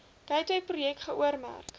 gateway projek geoormerk